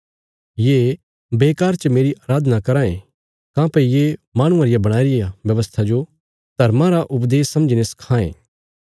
ये बेकार च मेरी अराधना कराँ ये काँह्भई ये माहणुआं रे बणाईरे व्यवस्था जो धर्मा रा उपदेश समझीने सखां ये